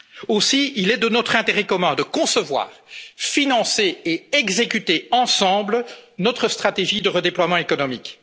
de notre temps. Aussi, il est de notre intérêt commun de concevoir, financer et exécuter ensemble notre stratégie de redéploiement